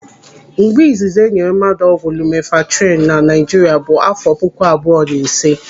Mgbe izizi enyere mmadụ ọgwụ lumenfantrinu na Naijiria bụ àfọ puku abụọ na ịse.